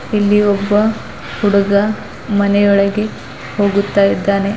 ಇಲ್ಲಿ ಒಬ್ಬ ಹುಡುಗ ಮನೆಯೊಳಗೆ ಹೋಗುತ್ತಾ ಇದ್ದಾನೆ.